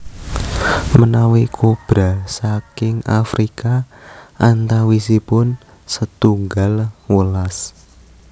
Menawi kobra saking Afrika antawisipun setunggal welas